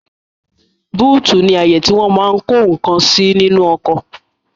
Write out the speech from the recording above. Búùtì ní àyè tí wọ́n máa n kó ǹkan sí nínú ọkọ̀